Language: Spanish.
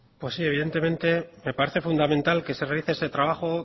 pues sí evidentemente me parece fundamental que se realice ese trabajo